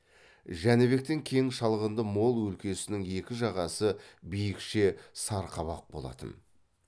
жәнібектің кең шалғынды мол өлкесінің екі жағасы биікше сарқабақ болатын